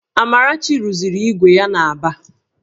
Amarachi rụziri ígwè ya n'Aba